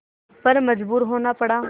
पर मजबूर होना पड़ा